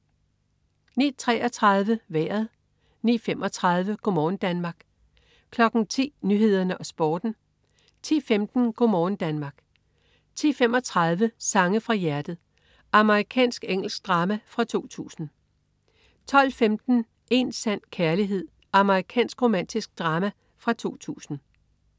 09.33 Vejret 09.35 Go' morgen Danmark 10.00 Nyhederne og Sporten 10.15 Go' morgen Danmark 10.35 Sange fra hjertet. Amerikansk-engelsk drama fra 2000 12.15 Én sand kærlighed. Amerikansk romantisk drama fra 2000